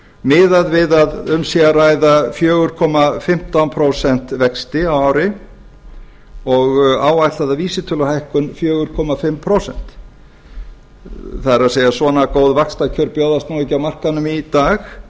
miðað við að um sé að ræða fjögur komma fimmtán prósent vexti á ári og áætlaða vísitöluhækkun fjögur og hálft prósent það er svona góð vaxtakjör bjóðast nú ekki á markaðnum í dag